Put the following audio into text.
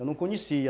Eu não conhecia.